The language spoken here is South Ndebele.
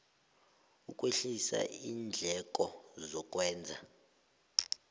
ukwehlisa iindleko zokwenza